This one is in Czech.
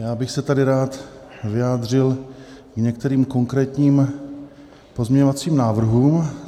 Já bych se tady rád vyjádřil k některým konkrétním pozměňovacím návrhům.